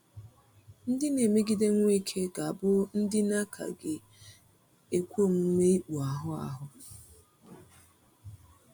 Ndị na-emegide Nweke ga-abụ ndị na-akaghị ekwe omume ikpụ ahụ ahụ.